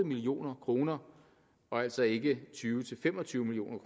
million kroner og altså ikke tyve til fem og tyve million